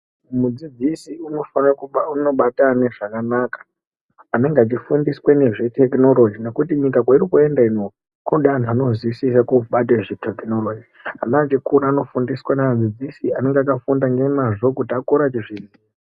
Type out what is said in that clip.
Mudzidzisi unofana kubata ana zvakanaka anenge achifundiswe nezvetikinorogi nekuti nyika kwayirikuenda ino kunoda anhu anozivisa kubate zvetekinorogi ana achikura anofundiswe neadzidzisi anenge q akafunda nemazvo kuti akure achizviziya.